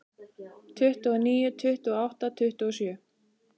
Tuttugu og níu, tuttugu og átta, tuttugu og sjö.